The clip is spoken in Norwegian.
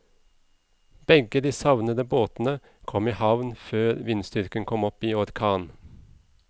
Begge de savnede båtene kom i havn før vindstyrken kom opp i orkan.